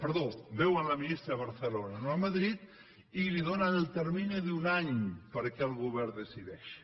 perdó veuen la ministra a barcelona no a madrid i li donen el termini d’un any perquè el govern decideixi